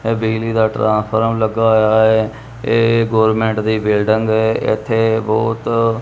ਇਹ ਬਿਜਲੀ ਦਾ ਟ੍ਰਾਂਸਫਾਰਮ ਲੱਗਾ ਹੋਇਆ ਐ ਇਹ ਗੌਰਮੈਂਟ ਦੀ ਬਿਲਡਿੰਗ ਐ ਇੱਥੇ ਬਹੁਤ --